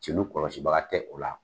Celu kɔlɔsibaga tɛ u la